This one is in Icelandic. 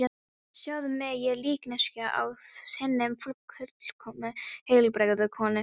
Sjáðu mig, ég er líkneskja af hinni fullkomnu, heilbrigðu konu.